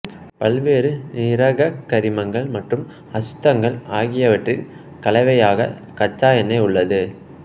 பல்வேறு நீரகக்கரிமங்கள் மற்றும் அசுத்தங்கள் ஆகியவற்றின் கலவையாக கச்சா எண்ணெய் உள்ளது